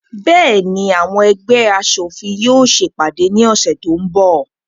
Bẹ́ẹ̀ni, àwọn ẹgbẹ́ aṣòfin yóò se ìpàdé ní ọ̀sẹ̀ tó ń bọ̀.